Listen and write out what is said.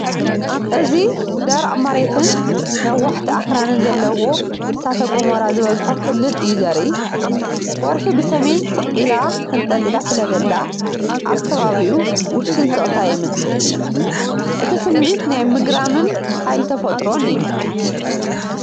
እዚ ደረቕ መሬትን ነዋሕቲ ኣኽራንን ዘለዎ እሳተ ጎመራ ዝበዝሖ ክልል እዩ ዘርኢ። ወርሒ ብሰሜን ስቕ ኢላ ተንጠልጢላ ስለዘላ፡ ኣብ ከባቢኡ ውሱን ስቕታ የምጽእ እዩ። እቲ ስምዒት ናይ ምግራምን ሓይሊ ተፈጥሮን እዩ።